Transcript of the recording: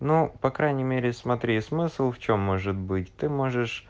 ну по крайней мере смотри смысл в чём может быть ты можешь